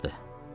Buraxdı.